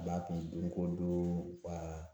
A b'a kunun donko don wa